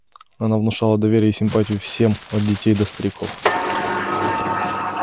она внушала доверие и симпатию всем от детей до стариков